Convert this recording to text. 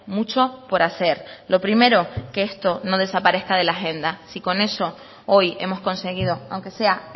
mucho por hacer lo primero que esto no desaparezca de la agenda si con eso hoy hemos conseguido aunque sea